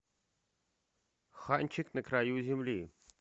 ханчик на краю земли